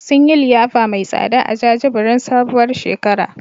Sun yi liyafa mai tsada a jajibirin sabuwar shekara.